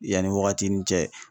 Yanni wagati nin cɛ.